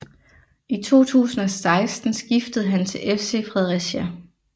I 2016 skiftede han til FC Fredericia